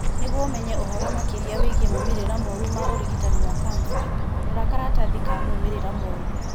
Nĩguo ũmenye ũhoro makĩria wĩgiĩ moimĩrĩra moru ma ũrigitani wa kanca, rora karatathi ka moimĩrĩra moru.